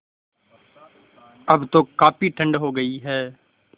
अब तो काफ़ी ठण्ड हो गयी है